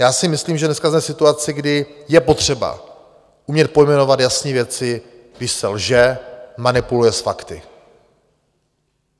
Já si myslím, že dneska jsme v situaci, kdy je potřeba umět pojmenovat jasné věci, když se lže, manipuluje s fakty.